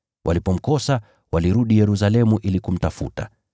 Walipomkosa walirudi Yerusalemu ili kumtafuta.